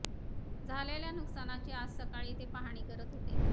झालेल्या नुकसानाची आज सकाळी ते पाहणी करत होते